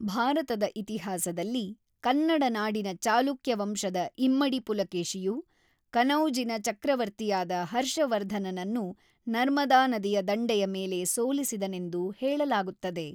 ಭಾರತದ ಇತಿಹಾಸದಲ್ಲಿ, ಕನ್ನಡನಾಡಿನ ಚಾಲುಕ್ಯವಂಶದ ಇಮ್ಮಡಿ ಪುಲಕೇಶಿಯು, ಕನೌಜಿನ ಚಕ್ರವರ್ತಿಯಾದ ಹರ್ಷವರ್ಧನನನ್ನು ನರ್ಮದಾ ನದಿಯ ದಂಡೆಯ ಮೇಲೆ ಸೋಲಿಸಿದನೆಂದು ಹೇಳಲಾಗುತ್ತದೆ.